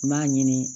N b'a ɲini